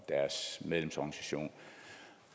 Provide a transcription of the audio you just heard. deres medlemsorganisationer